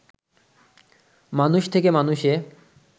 মানুষ থেকে মানুষে